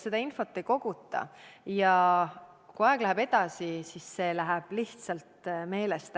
Seda infot tegelikult ei koguta, aga aja möödudes läheb see lihtsalt meelest.